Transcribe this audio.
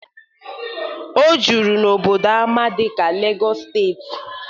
O juru n'obodo ama ama dị ka Legos steeti.